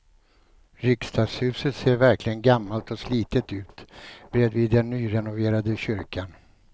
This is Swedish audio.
Riksdagshuset ser verkligen gammalt och slitet ut bredvid den nyrenoverade kyrkan.